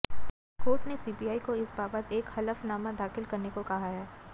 court ने CBI को इस बाबत एक हलफनामा दाखिल करने को कहा है